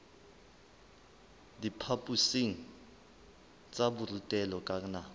diphaphosing tsa borutelo ka nako